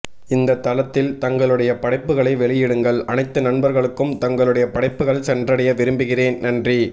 இந்த தளத்தில் தங்களுடைய படைப்புகளை வெளியிடுங்கள் அனைத்து நண்பர்களுக்கும் தங்களுடைய படைப்புகள் சென்றடைய விரும்புகிறேன் நன்றி